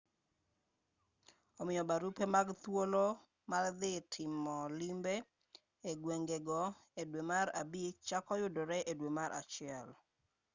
omiyo barupe mag thuolo mar dhi timo limbe e gwengego e dwe mar mei chako yudore e dwe mar januari